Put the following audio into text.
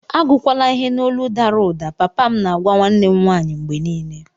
Agụkwala ihe n'olu dara ụda, papa m na-agwa nwanne m nwanyị mgbe niile.